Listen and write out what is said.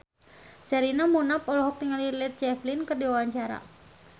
Sherina Munaf olohok ningali Led Zeppelin keur diwawancara